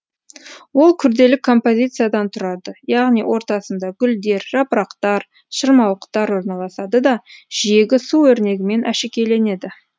ол күрделі композициядан тұрады яғни ортасында гүлдер жапырақтар шырмауықтар орналасады да жиегі су өрнегімен әшекейленеді